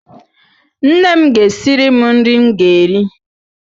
Nne m ga-esiri m nri m ga-eri.